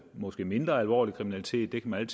måske mindre alvorlig kriminalitet man